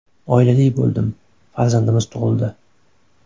Oilali bo‘ldim, farzandimiz tug‘ildi.